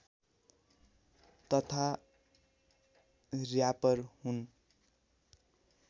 तथा र्‍यापर हुन्